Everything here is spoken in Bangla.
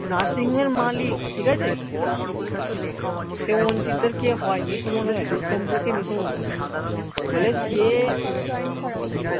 nursing home এর মালিক ঠিক আছে সে অঞ্চিতদের কে হয় মেসো মশাই দূরসম্পর্কের মেসো মশাই